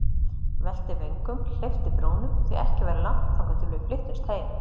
Velti vöngum, hleypti brúnum, því ekki væri langt þangað til við flyttumst heim.